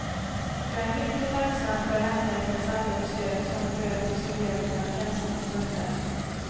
Jag är mycket tacksam för hemhjälpens alla besök som bröt isoleringen och ensamma stunder.